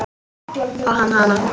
Og hann hana.